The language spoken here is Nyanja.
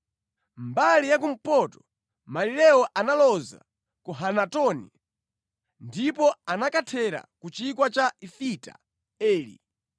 Mbali ya kumpoto malirewo analoza ku Hanatoni ndipo anakathera ku chigwa cha Ifita Eli.